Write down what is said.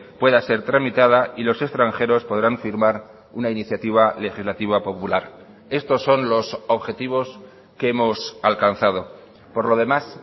pueda ser tramitada y los extranjeros podrán firmar una iniciativa legislativa popular estos son los objetivos que hemos alcanzado por lo demás